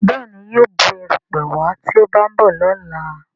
Béèni yíò Bù erùpẹ̀ wá tí o ba nbọ lọla.